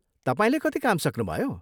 तपाईँले कति काम सक्नुभयो?